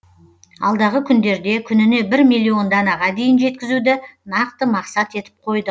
алдағы күндерде күніне бір миллион данаға дейін жеткізуді нақты мақсат етіп қойды